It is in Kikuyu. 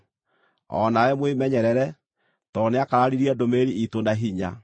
O nawe mwĩmenyerere, tondũ nĩakararirie ndũmĩrĩri iitũ na hinya.